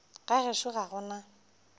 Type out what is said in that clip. ga gešo ga go na